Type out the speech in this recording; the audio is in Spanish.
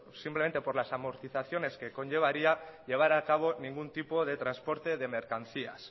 simplemente por las amortizaciones que conllevaría llevar a cabo ningún tipo de transporte de mercancías